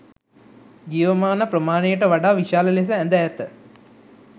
ජීවමාන ප්‍රමාණයට වඩා විශාල ලෙස ඇඳ ඇත.